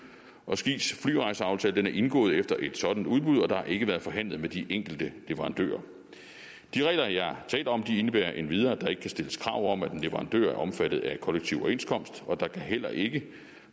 og skis flyrejseaftale er indgået efter et sådant udbud og der har ikke været forhandlet med de enkelte leverandører de regler jeg taler om indebærer endvidere at der ikke kan stilles krav om at en leverandør er omfattet af kollektiv overenskomst og der kan heller ikke